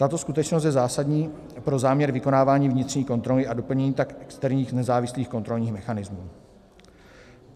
Tato skutečnost je zásadní pro záměr vykonávání vnitřní kontroly a doplnění tak externích nezávislých kontrolních mechanismů.